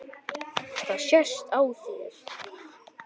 Það sést á þér